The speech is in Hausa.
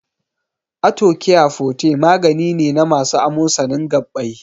Arthocare forte magani ne na masu amosanin gaɓɓai.